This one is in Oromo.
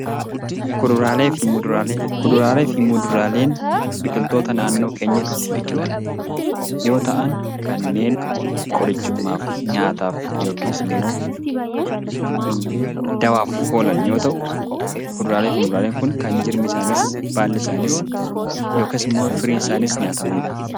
Kuduraalee fi Muduraalee Kuduraalee fi muduraaleen biqiltoota naannoo keenyatti biqilan yoo ta'an, kanneen qorichummaaf, nyaataaf yookiis immoo daawwaaf oolan yoo ta'u, Kuduraalee fi muduraaleen kun kan jirmi isaaniis, baalli isaaniis, yookaas immoo firiin isaanii nyaatamani dha.